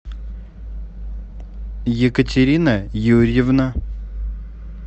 екатерина юрьевна